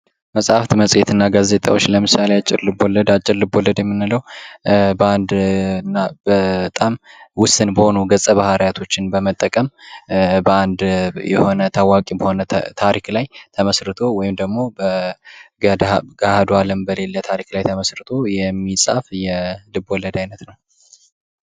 መጽሐፍ መጽሄትና ጋዜጣዎች አጭር ልቦለድ አጭር ልቦለድ የምንለው በአንድ እና በጣም ውስን በሆኑገፀ ባህሪያቶች በመጠቀም አንድ በሆነ ታዋቂ በሆነ ታሪክ ላይ ተመስርቶ ደግሞ በገሃዱ አለም በሌለ ታሪክ ላይ ተመርቶ የሚጻፍ የልቦለድ አይነት ነው ።